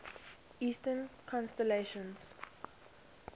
eastern constellations